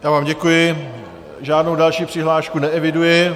Já vám děkuji, žádnou další přihlášku neeviduji.